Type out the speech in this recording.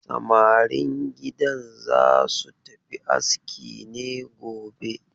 Samarin gidan za su tafi aski ne gobe?